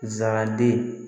Zaraden